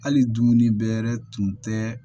Hali dumuni bɛɛ yɛrɛ tun tɛ